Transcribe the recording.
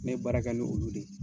Ne baara kɛ ni olu de ye